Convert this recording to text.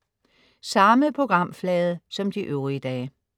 Samme programflade som de øvrige dage